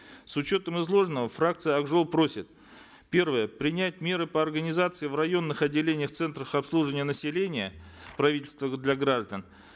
с учетом изложенного фракция ак жол просит первое принять меры по организации в районных отделениях центров обслуживания населения правительства для граждан